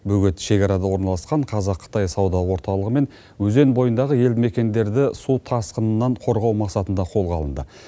бөгет шекарада орналасқан қазақ қытай сауда орталығы мен өзен бойындағы елді мекендерді су тасқынынан қорғау мақсатында қолға алынды